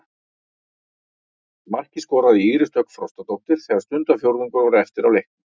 Markið skoraði Íris Dögg Frostadóttir þegar stundarfjórðungur var eftir af leiknum.